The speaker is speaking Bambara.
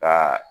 Ka